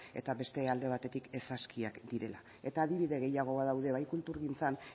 eta beste alde batetik ez askiak direla eta adibide gehiago badaude bai kulturgintzan